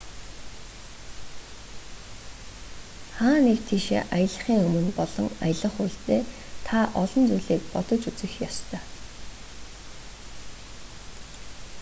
хаа нэг тийшээ аялахын өмнө болон аялах үедээ та олон зүйлийг бодож үзэх ёстой